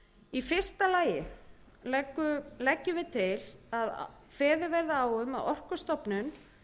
í fyrsta leggur meiri hlutinn til að kveðið verði á um að orkustofnun